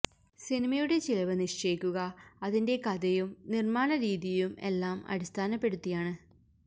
സിനിമയുടെ ചിലവ് നിശ്ചയിക്കുക അതിന്റെ കഥയും നിർമ്മാണ രീതിയും എല്ലാം അടിസ്ഥാനപ്പെടുത്തിയാണ്